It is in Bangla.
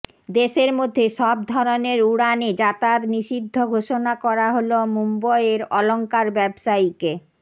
দেশের মধ্যে সব ধরনের উড়ানে যাতায়াত নিষিদ্ধ ঘোষণা করা হল মুম্বইয়ের অলংকার ব্যবসায়ীকে